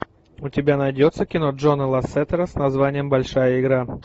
у тебя найдется кино джона лассетера с названием большая игра